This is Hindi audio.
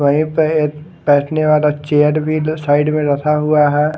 व्ही पे बेठने वाला चेयर भी साइड पे रखा हुआ है।